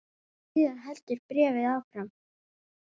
Síðan heldur bréfið áfram